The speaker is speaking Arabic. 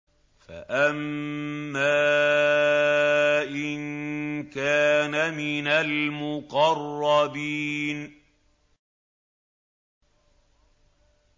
فَأَمَّا إِن كَانَ مِنَ الْمُقَرَّبِينَ